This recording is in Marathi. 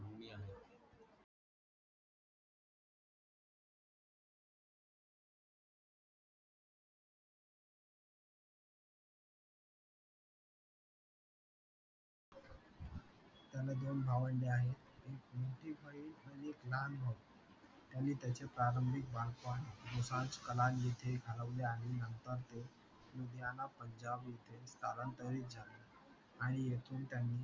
दोन भावंडे आहे एक मोठी बहीण आणि एक लहान भाऊ त्यांनी त्यांचे प्रारंभिक बालपण दोसांझ कलान जिथे घालवले आहे नंतर तो लुधियाना पंजाब येथे स्थालांतरित झाले आणि येथून त्यांनी